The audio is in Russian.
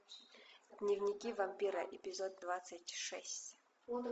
дневники вампира эпизод двадцать шесть